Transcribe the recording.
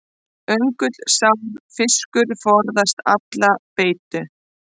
Öngulsár fiskur forðast alla beitu.